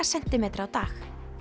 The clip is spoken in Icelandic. sentímetra á dag